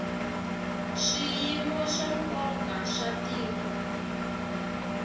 swiyimo swa nkoka swa tiko